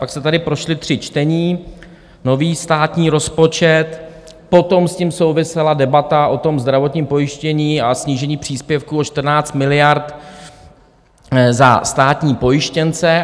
Pak se tady prošla tři čtení, nový státní rozpočet, potom s tím souvisela debata o tom zdravotním pojištění a snížení příspěvku o 14 miliard za státní pojištěnce.